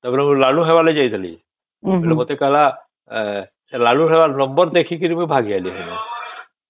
ତା ପରେ ମୁ ଲାଲୁ ହେବ ଲାଗି ଯାଇଥିଲି ସେ ମତେ କହିଲା ଲାଲୁ ହବ ର ନମ୍ବର ଦେଖିକି ମୁ ଭାଗ ଆଇଲି ପୁଣି